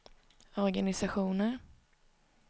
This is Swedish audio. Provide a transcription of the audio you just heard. organisationer